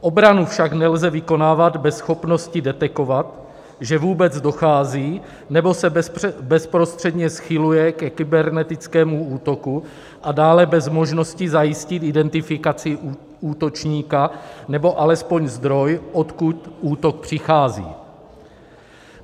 Obranu však nelze vykonávat bez možnosti detekovat, že vůbec dochází nebo se bezprostředně schyluje ke kybernetickému útoku, a dále bez možnosti zajistit identifikaci útočníka, nebo alespoň zdroj, odkud útok přichází.